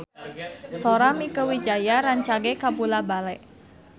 Sora Mieke Wijaya rancage kabula-bale